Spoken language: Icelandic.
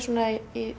í